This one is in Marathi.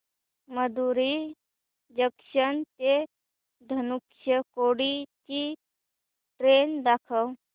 मदुरई जंक्शन ते धनुषकोडी ची ट्रेन दाखव